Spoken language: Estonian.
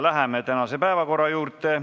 Läheme tänase päevakorra juurde.